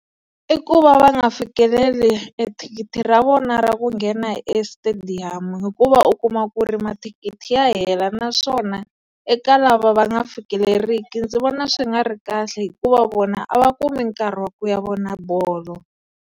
I ku va va nga fikeleli ethikithi ra vona ra ku nghena estadium hikuva u kuma ku ri mathikithi ya hela naswona eka lava va nga fikeleriki ndzi vona swi nga ri kahle hikuva vona a va kumi nkarhi wa ku ya vona bolo.